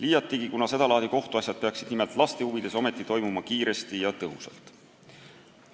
Ometi peaksid sedalaadi kohtuasjad nimelt laste huvides lahenema kiiresti ja tõhusalt.